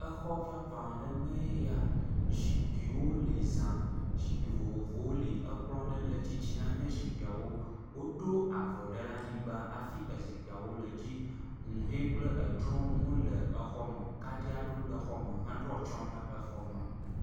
Xɔ vavã aɖe mea ya, zikpuiwo li zã. Zikpui vovovowo li. Kplɔ̃ aɖe le titina ne zikpuiwo. Woɖo avɔ aɖe ɖe anyigba hafi e zikpuiwo le edzi. Huhɔ̃e kple drɔwo hã le xɔa me. Kaɖi aɖewo le xɔ me heɖo atsyɔ̃ ne xɔa me.